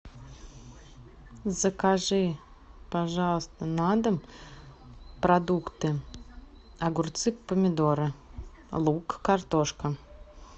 закажи пожалуйста на дом продукты огурцы помидоры лук картошка